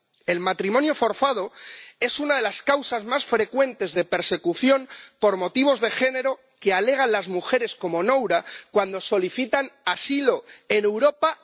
El matrimonio forzado es una de las causas más frecuentes de persecución por motivos de género que alegan las mujeres como Nura cuando solicitan asilo en Europa.